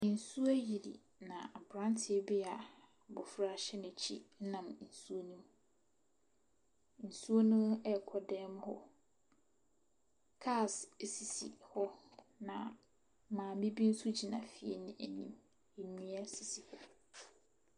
Nsuo ayiri na abranteɛ bi a abofra hyɛ n'akyi nam nsuo rekɔ dan mu hɔ. Cars sisi hɔ, na maame bi nso gyina fie no anim. Nnua sisi .